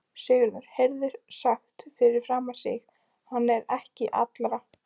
Sigurður heyrði sagt fyrir aftan sig:-Hann er ekki allra.